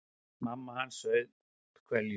Mamma hans saup hveljur.